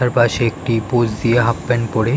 তার পাশে একটি পোস দিয়ে হাফ প্যান্ট পরে --